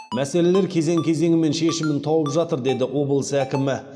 мәселелер кезең кезеңімен шешімін тауып жатыр деді облыс әкімі